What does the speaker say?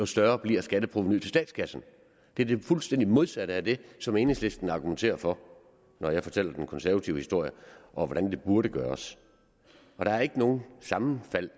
større bliver skatteprovenuet til statskassen det er det fuldstændig modsatte af det som enhedslisten argumenterer for når jeg fortæller den konservative historie om hvordan det burde gøres der er ikke noget sammenfald